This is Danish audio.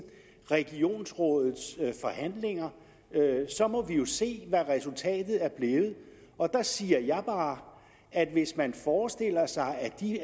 regionsrådets forhandlinger må vi jo se hvad resultat er blevet og der siger jeg bare at hvis man forestiller sig at de